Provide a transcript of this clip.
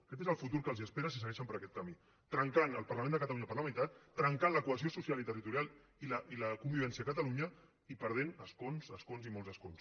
aquest és el futur que els espera si segueixen per aquest camí trencant el parlament de catalunya per la meitat trencant la cohesió social i territo rial i la convivència a catalunya i perdent escons escons i molts escons